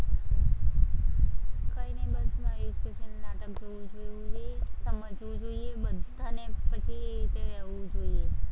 બસમાં એજ કે નાટક જોવું જોઈએ, સમજવું જોઈએ, બધાને પછી તે અવવું જોઈએ.